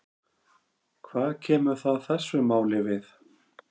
Hvað kemur það þessu máli við?